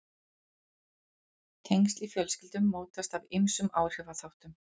Tengsl í fjölskyldum mótast af ýmsum áhrifaþáttum.